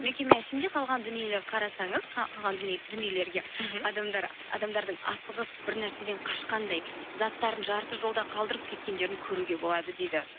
мекеме ішінде қалған дүниелер қарасаңыз дүниелерге мхм адамдардың асығыс бір нәрседен қашқандай заттарын жарты жолда қалдырып кеткендерін көруге болады дейді